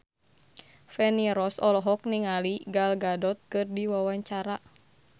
Feni Rose olohok ningali Gal Gadot keur diwawancara